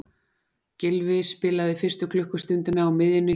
Gylfi spilaði fyrstu klukkustundina á miðjunni hjá liðinu.